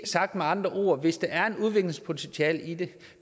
sagt med andre ord hvis der er et udviklingspotentiale i det